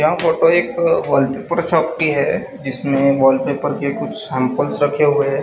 यह फोटो एक wallpaper shop की है जिसमे वॉलपेपर की कुछ सैम्पल रखे हुए है।